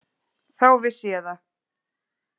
Þá vissi ég það.